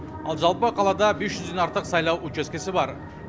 ал жалпы қалада бес жүзден артық сайлау учаскесі бар